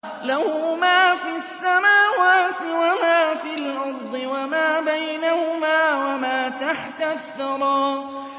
لَهُ مَا فِي السَّمَاوَاتِ وَمَا فِي الْأَرْضِ وَمَا بَيْنَهُمَا وَمَا تَحْتَ الثَّرَىٰ